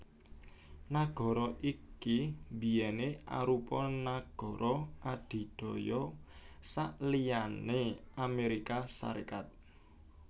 Nagara iki biyèné arupa nagara adidaya saliyané Amérika Sarékat